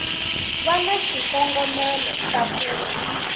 va na xikongomelo xa ku